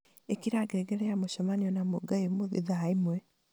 ĩkĩra ngengere ya mũcemanio na mungai ũmũthĩ thaa ĩmwe